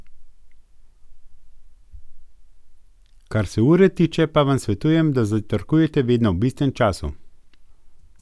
Kar se ure tiče pa vam svetujem, da zajtrkujete vedno ob istem času.